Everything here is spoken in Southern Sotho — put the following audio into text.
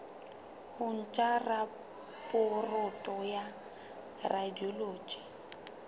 ho ntsha raporoto ya radiology